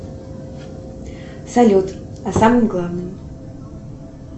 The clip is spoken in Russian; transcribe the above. салют о самом главном